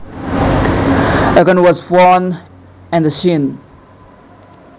A gun was found at the scene